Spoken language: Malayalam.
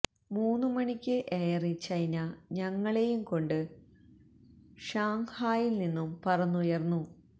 മൂന്നു മണിക്ക് എയർ ചൈന ഞങ്ങളെയും കൊണ്ട് ഷാങ്ഹായിൽ നിന്നും പറന്നുയർന്നു